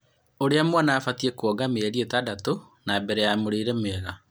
Ũria mwana abatiĩ kuonga mĩeri ĩtandatũ ya mbele na mũrĩre mwega